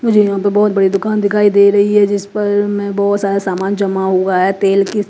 मुझे यहाँ पे बहोत बड़ी दुकान दिखाई दे रही है जिस पर में बहोत जादा समान जमा हुआ है तेल--